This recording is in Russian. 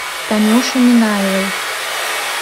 танюши минаевой